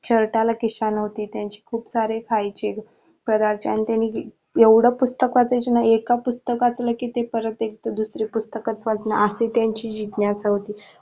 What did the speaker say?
शर्टला खिसा नव्हती त्यांची खूप सारे व्हायचे एवढ पुस्तक वाचायचे ना एका पुस्तकातून किती परत दुसरा पुस्तक पासन अशी त्यांची जिज्ञासा होती.